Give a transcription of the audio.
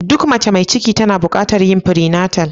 Duk mace mai ciki tana bukatar yin "prenatal "